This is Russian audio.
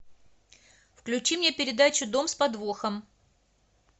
включи мне передачу дом с подвохом